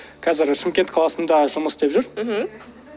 қазір шымкент қаласында жұмыс істеп жүр мхм